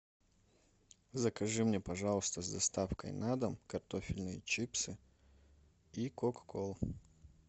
закажи мне пожалуйста с доставкой на дом картофельные чипсы и кока колу